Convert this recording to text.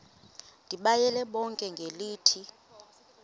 ndibayale bonke ngelithi